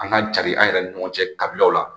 An ka cari an yɛrɛ ni ɲɔgɔn cɛ kabilaw la